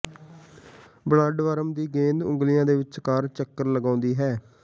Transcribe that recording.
bloodworm ਦੀ ਗੇਂਦ ਉਂਗਲੀਆਂ ਦੇ ਵਿਚਕਾਰ ਚੱਕਰ ਲਗਾਉਂਦੀ ਹੈ